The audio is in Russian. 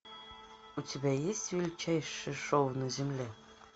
у тебя есть величайшее шоу на земле